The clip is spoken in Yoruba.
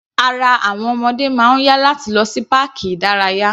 Ara àwọn ọmọdé máa ń yá láti lọ sí páàkì ìdárayá.